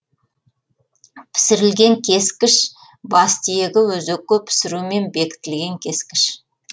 пісірілген кескіш бас тиегі өзекке пісірумен бекітілген кескіш